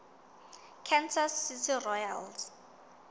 kansas city royals